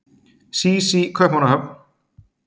SÍS í Kaupmannahöfn.